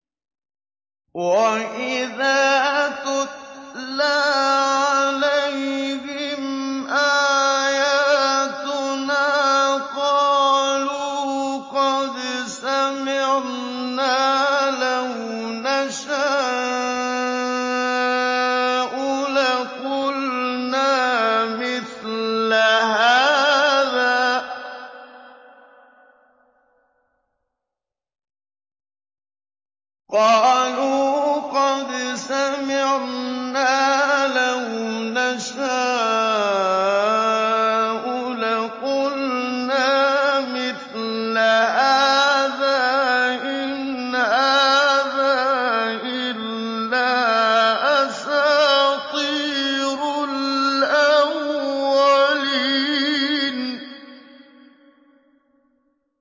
وَإِذَا تُتْلَىٰ عَلَيْهِمْ آيَاتُنَا قَالُوا قَدْ سَمِعْنَا لَوْ نَشَاءُ لَقُلْنَا مِثْلَ هَٰذَا ۙ إِنْ هَٰذَا إِلَّا أَسَاطِيرُ الْأَوَّلِينَ